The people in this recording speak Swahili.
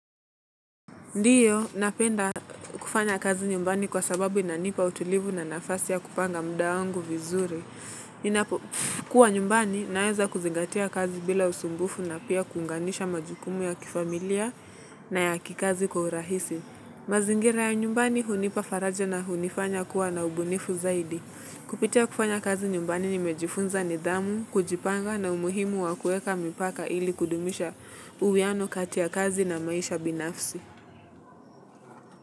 Ndio, napenda kufanya kazi nyumbani kwa sababu inanipa utulivu na nafasi ya kupanga muda wangu vizuri. Kuwa nyumbani, naeza kuzingatia kazi bila usumbufu na pia kuunganisha majukumu ya kifamilia na ya kikazi kwa urahisi. Mazingira ya nyumbani, hunipa faraja na hunifanya kuwa na ubunifu zaidi. Kupitia kufanya kazi nyumbani nimejifunza nidhamu, kujipanga na umuhimu wa kuweka mipaka ili kudumisha uwiano kati ya kazi na maisha binafsi.